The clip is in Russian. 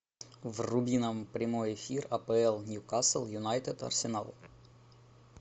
вруби нам прямой эфир апл ньюкасл юнайтед арсенал